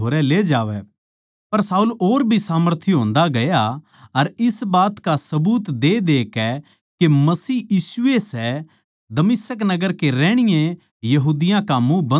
पर शाऊल और भी सामर्थी होंदा गया अर इस बात का सबूत देदेकै के मसीह यीशुए सै दमिश्क नगर के रहणीये यहूदिया का मुँह बन्द करदा रहया